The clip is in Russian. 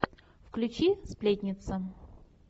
включи сплетница